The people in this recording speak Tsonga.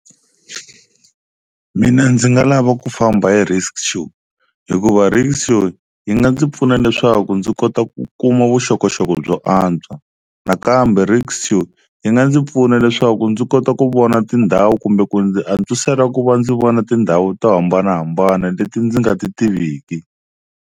Mina ndzi nga lava ku famba hi rickshaw hikuva rickshaw yi nga ndzi pfuna leswaku ndzi kota ku kuma vuxokoxoko byo antswa, nakambe rikshaw yi nga ndzi pfuna leswaku ndzi kota ku vona tindhawu kumbe ku ndzi antswisela ku va ndzi vona tindhawu to hambanahambana leti ndzi nga ti tiviki.